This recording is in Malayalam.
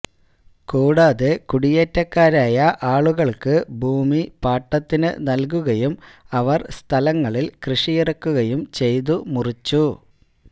കൂടാതെ കുടിയേറ്റക്കാരായ ആളുകൾക്ക് ഭൂമി പാട്ടത്തിനു നൽകുകയും അവർ സ്ഥലങ്ങളിൽ കൃഷിയിറക്കുകയും ചെയ്തു മുറിച്ചു